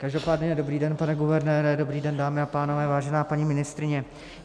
Každopádně dobrý den, pane guvernére, dobrý den, dámy a pánové, vážená paní ministryně.